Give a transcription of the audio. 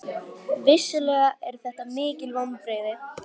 Vissulega eru þetta mikil vonbrigði